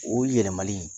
O yɛlɛmali